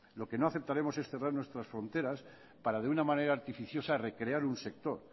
lo que no aceptaremos es cerrar nuestras fronteras para de una manera artificiosa recrear un sector